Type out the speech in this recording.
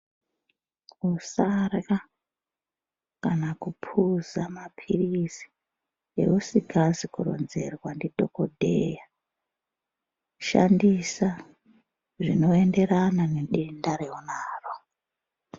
Usarya kana kupuza mapirizi ausingazi kuronzerwa ndidhokodheya shandisa zvinoenderana nedenda raunaro.